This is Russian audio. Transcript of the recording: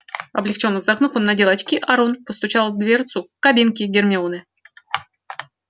облегчённо вздохнув он надел очки а рон постучал в дверцу кабинки гермионы